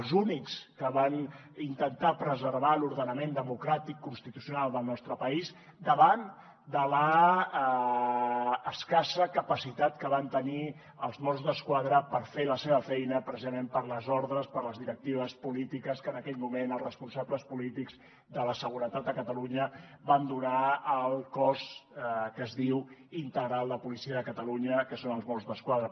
els únics que van intentar preservar l’ordenament democràtic constitucional del nostre país davant de l’escassa capacitat que van tenir els mossos d’esquadra per fer la seva feina precisament per les ordres per les directives polítiques que en aquell moment els responsables polítics de la seguretat a catalunya van donar al cos que es diu integral de policia de catalunya que són els mossos d’esquadra